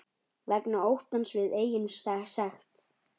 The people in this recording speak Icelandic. Vegna óttans við eigin sekt.